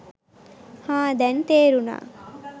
හා දැන් තේරුණා